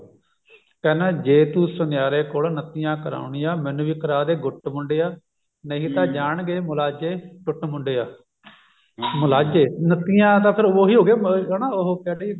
ਕਹਿਨਾ ਜੇ ਤੂੰ ਸੁਨਿਆਰੇ ਕੋਲੋ ਨੱਤੀਆਂ ਕਰਾਉਣੀਆਂ ਮੈਨੂੰ ਵੀ ਕਰਾ ਦੇ ਗੁੱਟ ਮੁੰਡਿਆਂ ਨਹੀਂ ਤਾਂ ਜਾਣਗੇ ਮੁਲਾਜੇ ਟੁੱਟ ਮੁੰਡਿਆਂ ਮੁਲਾਜੇ ਨੱਤੀਆਂ ਤਾਂ ਫਿਰ ਉਹੀ ਹੋ ਗਿਆ ਨਾ ਉਹ ਹਨਾ ਉਹ ਕਹਿੰਦੇ